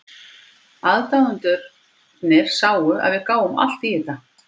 Aðdáendurnir sáu að við gáfum allt í þetta.